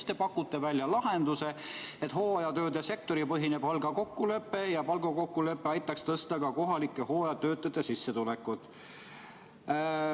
Te pakute välja lahenduse, et hooajatööde sektoripõhine palgakokkulepe aitaks tõsta ka kohalike hooajatöötajate sissetulekut.